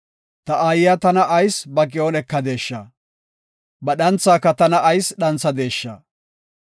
Ta aayiya tana ayis ba ki7on ekadesha? Ba dhanthaaka tana ayis dhanthadesha?